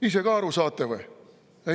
Ise ka aru saate või?